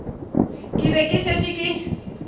ke be ke šetše ke